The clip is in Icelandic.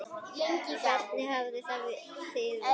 Hvernig hafið þið það?